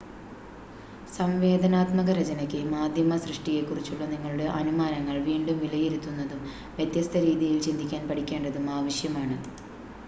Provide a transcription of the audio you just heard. സംവേദനാത്മക രചനയ്‌ക്ക് മാധ്യമ സൃഷ്ടിയെക്കുറിച്ചുള്ള നിങ്ങളുടെ അനുമാനങ്ങൾ വീണ്ടും വിലയിരുത്തുന്നതും വ്യത്യസ്ത രീതിയിൽ ചിന്തിക്കാൻ പഠിക്കേണ്ടതും ആവശ്യമാണ്